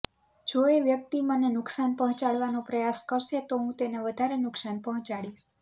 જો એ વ્યક્તિ મને નુકસાન પહોંચાડવાનો પ્રયાસ કરશે તો હું તેને વધારે નુકસાન પહોંચાડીશ